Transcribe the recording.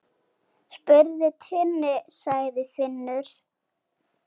Spurðu Tinnu, sagði Finnur.